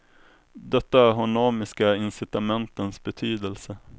Detta honomiska incitamentens betydelse.